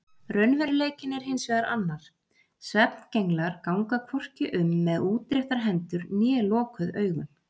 Raunveruleikinn er hins vegar annar: Svefngenglar ganga hvorki um með útréttar hendur né lokuð augun.